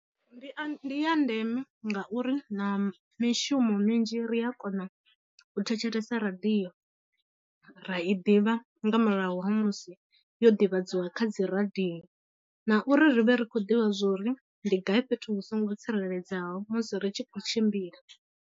Ndi a, ndi ya ndeme ngauri na mishumo minzhi ri a kona u thetshelesa radio ra i ḓivha nga murahu ha musi yo divhadziwa kha dziradio, na uri ri vhe ri khou ḓivha zwori ndi gai fhethu hu songo tsireledzeaho musi ri tshi khou tshimbila.